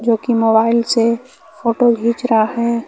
जोकि मोबाइल से फोटो खिच रहा है।